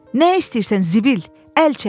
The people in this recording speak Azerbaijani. Nə istəyirsən zibil, əl çək!